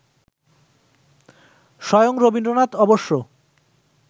স্বয়ং রবীন্দ্রনাথ অবশ্য